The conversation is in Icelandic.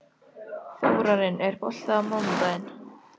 Þórarinn, er bolti á mánudaginn?